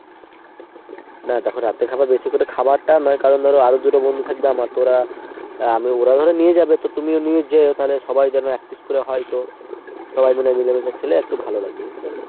না দ্যাখো রাতের খাবার বেশি করে খাওয়াটা নয়। কারণ ধরো আরো দুটো বন্ধু থাকবে আমার তো ওরা। ওরা ধরো নিয়ে যাবে তুমিও নিয়ে যেও তালে সবার যেন এক piece করে হয় তো সবাই মিলে মিলেমিশে খেলে একটু ভালোলাগবে বুঝতে পারলে ?